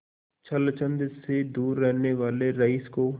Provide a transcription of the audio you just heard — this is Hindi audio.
छल छंद से दूर रहने वाले रईस को